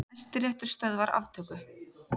Hæstiréttur stöðvar aftöku